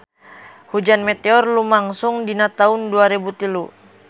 Hujan meteor lumangsung dina taun dua rebu tilu